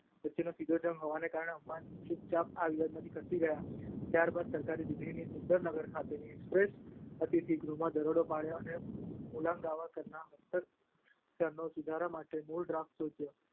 વચ્ચેનો સીધો જંગ હોવાના કારણે અંબાણી ચૂપચાપ આ વિવાદમાંથી ખસી ગયા. ત્યાર બાદ સરકારે દિલ્હીના સુંદર નગર ખાતેના એક્સપ્રેસના અતિથિ ગૃહમાં દરોડો પાડ્યો અને મુલગાંવકરના હસ્તાક્ષરોનો સુધારા સાથેનો મૂળ ડ્રાફ્ટ શોધ્યો.